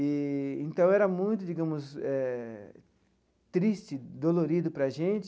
Eee então, era muito digamos eh triste, dolorido para a gente.